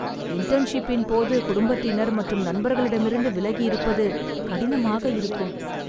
இன்டர்ன்ஷிப்பின் போது குடும்பத்தினர் மற்றும் நண்பர்களிடமிருந்து விலகி இருப்பது கடினமாக இருக்கும்